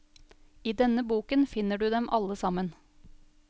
I denne boken finner du dem alle sammen.